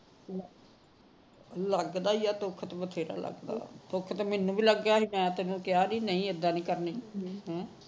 ਲੱਗਦਾ ਈ ਏ ਦੁੱਖ ਤਾਂ ਬਥੇਰਾ ਲੱਗਦਾ ਦੁੱਖ ਤਾਂ ਮੈਨੂੰ ਵੀ ਲੱਗਿਆ ਸੀ ਤੈਨੂੰ ਕਿਹਾ ਸੀ ਨਹੀ ਇੱਦਾ ਨਹੀ ਕਰਨੀ ਹਮ